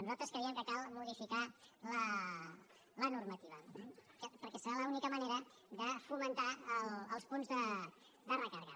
nosaltres creiem que cal modificar la normativa perquè serà l’única manera de fomentar els punts de recàrrega